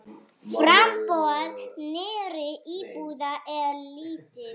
Framboð nýrra íbúða er lítið.